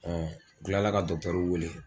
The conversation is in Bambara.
Ɔ kalara ka dɔkitɛruw wele